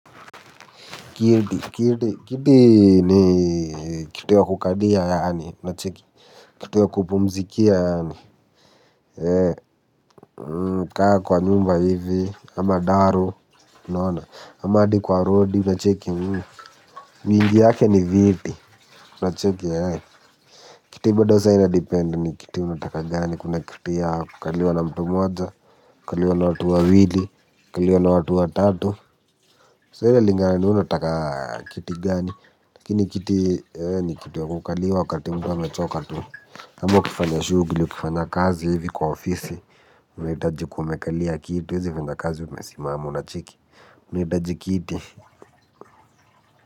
Kiti, kiti ni kitu ya kukalia yaani, kitu ya kupumzikia yaani, kaa kwa nyumba hivi, ama daro, ama hadi kwa rodi, unacheki, mingi yake ni viti, unacheki eeeh, kiti bado sa inadepend ni kiti unataka gani, kuna kiti ya, kukaliwa na mtu mmoja, kukaliwa na watu wawili, kukaliwa na watu watatu, so inalingana ni wewe unataka kiti gani, lakini kiti ni kitu ya kukaliwa wakati mtu amechoka tu. Ama ukifanya shughuli ukifanya kazi hivi kwa ofisi unahitaji ukuwe umekalia kiti. Huwezi kuenda kazi umesimama unacheki unahitaji kiti.